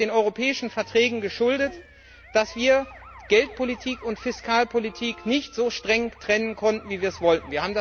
Es ist den Europäischen Verträgen geschuldet, dass wir Geldpolitik und Fiskalpolitik nicht so streng trennen konnten, wie wir es wollten.